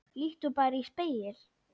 Líttu bara í spegil.